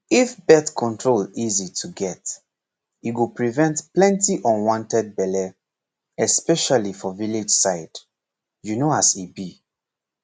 if birth control easy to get e go prevent plenty unwanted belle especially for village side you know as e be